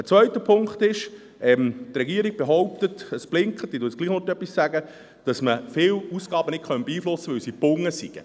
Ein zweiter Punkt ist, dass die Regierung behauptet – es blinkt, ich muss trotzdem noch etwas sagen –, man könne viele Ausgaben nicht beeinflussen, weil sie gebunden seien.